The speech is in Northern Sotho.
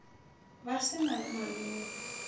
ba se na le malome